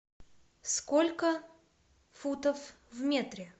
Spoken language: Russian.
сколько футов в метре